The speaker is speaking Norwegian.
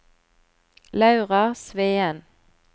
Laura Sveen